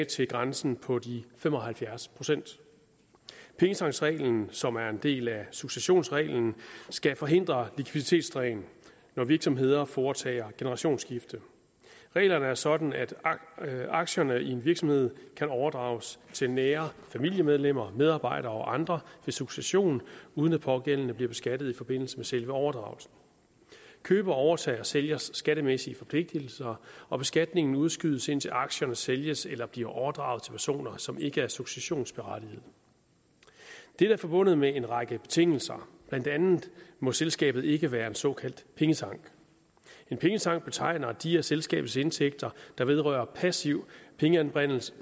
til grænsen på de fem og halvfjerds procent pengetanksreglen som er en del af successionsreglen skal forhindre likviditetsdræn når virksomheder foretager generationsskifte reglerne er sådan at aktierne i en virksomhed kan overdrages til nære familiemedlemmer medarbejdere og andre ved succession uden at pågældende bliver beskattet i forbindelse med selve overdragelsen køber overtager sælgers skattemæssige forpligtelser og beskatningen udskydes indtil aktierne sælges eller bliver overdraget til personer som ikke er successionsberettigede dette er forbundet med en række betingelser blandt andet må selskabet ikke være en såkaldt pengetank en pengetank betegner de af selskabets indtægter der vedrører passiv pengeanbringelse